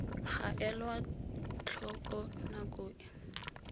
ga elwa tlhoko nako e